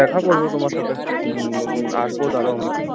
দেখা করবো তোমার সাথে, আসবো